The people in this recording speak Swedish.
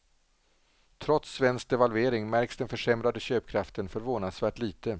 Trots svensk devalvering märks den försämrade köpkraften förvånansvärt lite.